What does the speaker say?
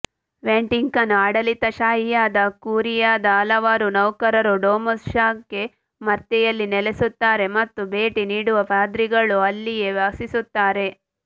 Vatican ಆಡಳಿತಶಾಹಿಯಾದ ಕ್ಯೂರಿಯಾದ ಹಲವಾರು ನೌಕರರು ಡೊಮಸ್ ಸ್ಯಾಂಕೇ ಮರ್ತೆಯಲ್ಲಿ ನೆಲೆಸುತ್ತಾರೆ ಮತ್ತು ಭೇಟಿ ನೀಡುವ ಪಾದ್ರಿಗಳು ಅಲ್ಲಿಯೇ ವಾಸಿಸುತ್ತಾರೆ